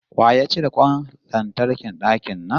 Wa ya cire kwan lantarkin dakin nan?